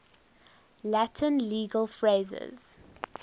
latin legal phrases